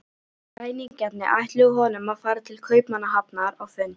Ræningjarnir ætluðu honum að fara til Kaupmannahafnar á fund